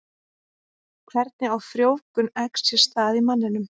Hvernig á frjóvgun eggs sér stað í manninum?